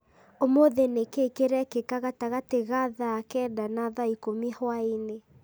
ũmũthĩ nĩ kĩĩ kĩrekĩka gatagatĩ ga thaa kenda na thaa ikũmi hwaĩ-inĩ